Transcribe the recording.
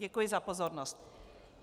Děkuji za pozornost.